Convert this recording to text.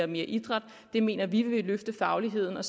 mere idræt det mener vi vil løfte fagligheden og